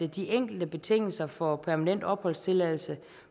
de enkelte betingelser for permanent opholdstilladelse